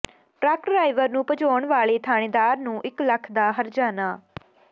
truck driver ਨੂੰ ਭਜਾਉਣ ਵਾਲੇ ਥਾਣੇਦਾਰ ਨੂੰ ਇਕ ਲੱਖ ਦਾ ਹਰਜਾਨਾ